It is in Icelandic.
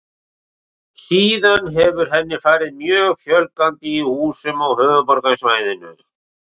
Síðan hefur henni farið mjög fjölgandi í húsum á höfuðborgarsvæðinu.